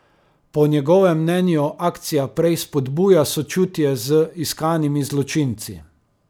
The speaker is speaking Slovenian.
Po njegovem mnenju akcija prej spodbuja sočutje z iskanimi zločinci.